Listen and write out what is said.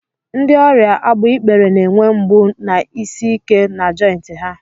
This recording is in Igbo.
Ndị ọrịa agbaikpere na-enwe mgbu na isi ike na jointị ha.